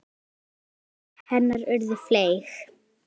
Mörg tilsvör hennar urðu fleyg.